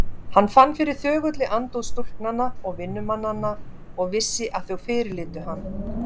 Hann fann fyrir þögulli andúð stúlknanna og vinnumannanna og vissi að þau fyrirlitu hann.